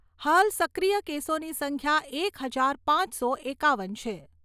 હાલ સક્રિય કેસોની સંખ્યા એક હજાર પાંચસો એકાવન છે.